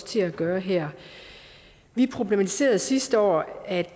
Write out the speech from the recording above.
til at gøre her vi problematiserede sidste år at